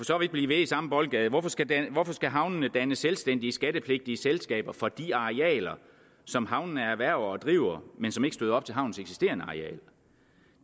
så vidt blive ved i samme boldgade hvorfor skal hvorfor skal havnene danne selvstændige skattepligtige selskaber for de arealer som havnene erhverver og driver men som ikke støder op til havnens eksisterende areal